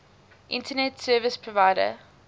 internet service provider